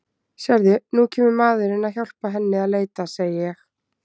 Sérðu, nú kemur maðurinn að hjálpa henni að leita, segi ég.